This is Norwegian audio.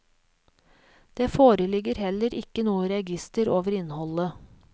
Det foreligger heller ikke noe register over innholdet.